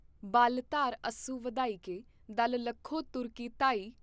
ਬਲ ਧਾਰ ਅਸੂ ਵਧਾਇਕੇ ਦਲ ਲਖੋ ਤੁਰਕੀ ਧਾਇ।